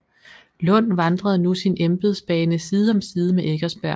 Lund vandrede nu sin embedsbane side om side med Eckersberg